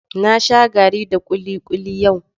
Na sha garri da kulikuli yau.